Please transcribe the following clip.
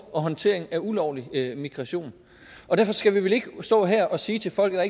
og håndtering af ulovlig migration derfor skal vi vel ikke stå her og sige til folk at